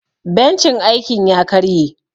Bencin aikin ya karye.